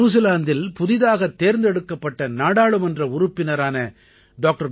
நியூசிலாந்தில் புதியதாகத் தேர்ந்தெடுக்கப்பட்ட நாடாளுமன்ற உறுப்பினரான டாக்டர்